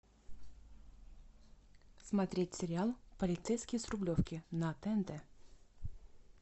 смотреть сериал полицейский с рублевки на тнт